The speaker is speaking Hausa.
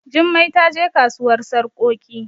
Jummai ta je kasuwar sarkoki